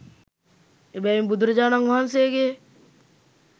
එබැවින් බුදුරජාණන් වහන්සේගේ